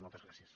moltes gràcies